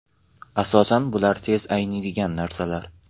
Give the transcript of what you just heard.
Asosan bular tez ayniydigan narsalar.